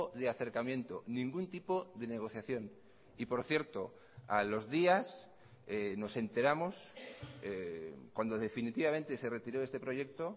de acercamiento ningún tipo de negociación y por cierto a los días nos enteramos cuando definitivamente se retiró este proyecto